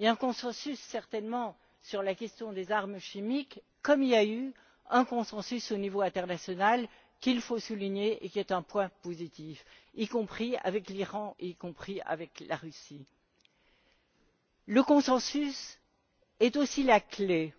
Un consensus, certainement, sur la question des armes chimiques, comme il y a eu un consensus au niveau international sur lequel il faut insister et qui est un point positif y compris avec l'Iran et avec la Russie. Le consensus est aussi la clé